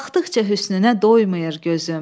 Baxdıqca hüsnünə doymayır gözüm.